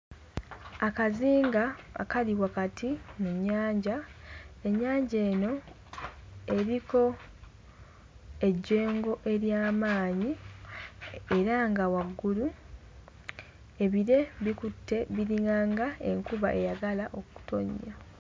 Akazinga akali wakati mu nnyanja ennyanja eno eriko ejjengo ery'amaanyi era nga waggulu ebire bikutte biringanga enkuba eyagala okutonnya.